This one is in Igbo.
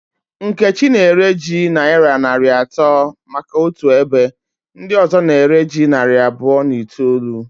Nkechi na ere ji nayira narị atọ maka otu ebe ndị ọzọ na ere ji narị abụọ na itoolu